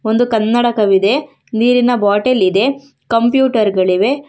ಒಂದು ಕನ್ನಡಕವಿದೆ ನೀರಿನ ಬಾಟಲ್ ಇದೆ ಕಂಒ್ಯೂಟರ್ ಗಳಿವೆ.